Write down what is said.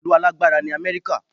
Ìlú alágbára ni Amẹ́ríkà